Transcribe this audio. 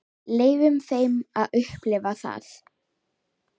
Leyfum þeim að upplifa það.